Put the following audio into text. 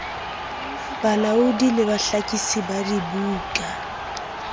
balaodi le bahlakisi ba dibuka